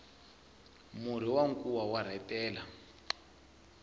murhi wa nkuwa wa rhetela